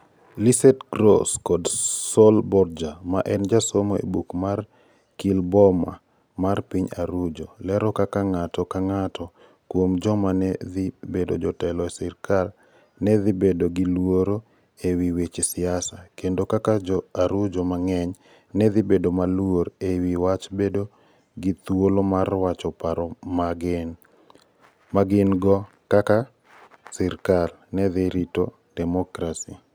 Lisette ArĂ©valo Gross kod Sol Borja, ma en jasomo e oboke mar Gkillboma mar piny Arujo, lero kaka ng'ato ka ng'ato kuom joma ne dhi bedo jotelo e sirkal ne dhi bedo gi luoro e wi weche siasa, kendo kaka Jo - Arujo mang'eny ne dhi bedo maluor e wi wach bedo gi thuolo mar wacho paro ma gin - go, koda kaka sirkal ne dhi rito demokrasi.